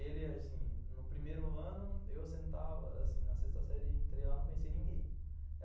Ele, assim, no primeiro ano, eu sentava na sexta série e entrei lá e não conheci ninguém.